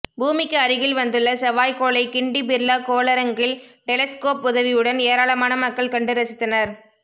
பூமிக்கு அருகில் வந்துள்ள செவ்வாய்கோளை கிண்டி பிர்லா கோளரங்கில் டெலஸ்கோப் உதவியுடன் ஏராளமான மக்கள் கண்டு ரசித்தனர்